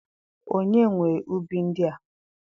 Onye nwe ibu ndia?